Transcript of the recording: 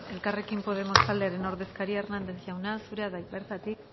elkarrekin podemos taldearen ordezkaria hernández jauna zurea da hitza bertatik